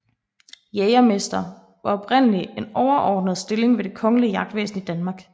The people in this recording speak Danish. Jægermester var oprindelig en overordnet stilling ved det kongelige jagtvæsen i Danmark